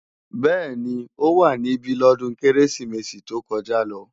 Bẹ́ẹ̀ni, ó wá níbí lọ́dún Kérésìmesì tó kọjá lọ